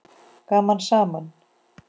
Gaman saman!